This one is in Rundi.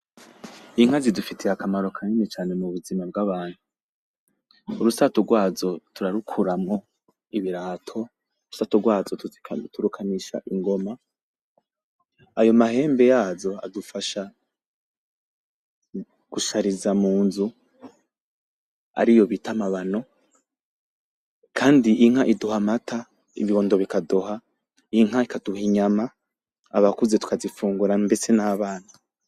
Inka zidufitiye akamaro kanini cane mu buzima bwacu. Urusato rwazo turarukuramwo ibirato, urusato rwazo turukanisha ingoma. Ayo mahembe yazo adufasha gushariza mu nzu ariyo bita amabano. Kandi inka iduha amata, ibihondo bikaduha, inka ikaduha inyama abakuze tugazifungura mbese n'abana.